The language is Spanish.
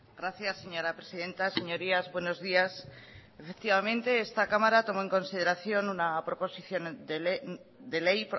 gracias señora presidenta señorías buenos días efectivamente esta cámara tomó en consideración una proposición de ley